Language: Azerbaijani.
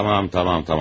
Tamam, tamam, tamam.